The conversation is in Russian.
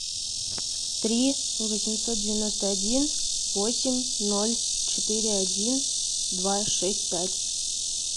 три восемьсот девяносто один восемь ноль четыре один два шесть пять